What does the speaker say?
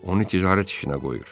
Onu ticarət işinə qoyur.